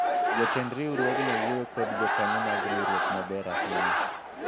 jotend riwruogno wuoyo kod jokanyo mag riwruok maber ahinya